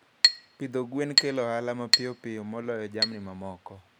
Pidho gwen kelo ohala mapiyo moloyo jamni mamoko.